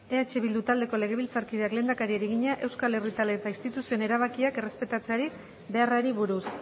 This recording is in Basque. eh bildu taldeko legebiltzarkideak lehendakariari egina euskal herritar eta instituzioen erabakiak errespetarazi beharrari buruz